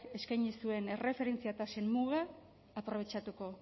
eskaini zuen erreferentzia tasen muga aprobetxatuko